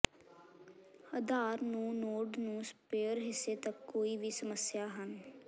ਅਧਾਰ ਨੂੰ ਨੋਡ ਨੂੰ ਸਪੇਅਰ ਹਿੱਸੇ ਤੱਕ ਕੋਈ ਵੀ ਸਮੱਸਿਆ ਹਨ